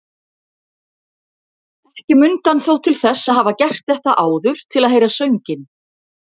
Ekki mundi hann þó til þess að hafa gert þetta áður til að heyra sönginn.